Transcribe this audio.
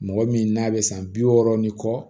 Mɔgɔ min n'a bɛ san bi wɔɔrɔ ni kɔ